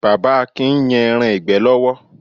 Bàbá Akin ń yan ẹran ìgbẹ́ lọ́wọ́.